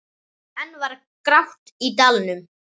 Enn var grátt í dalnum.